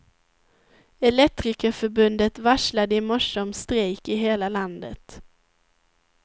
Elektrikerförbundet varslade i morse om strejk i hela landet.